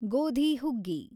ಗೋಧಿ ಹುಗ್ಗಿ